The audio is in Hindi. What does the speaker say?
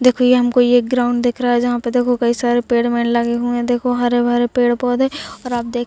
देखो हमको ये एक ग्राउंड दिख रहा है जहां पे देखो कई सारे पेड़ वेर लगे हुए है देखो हरे भरे पेड़-पौधे और आप देख --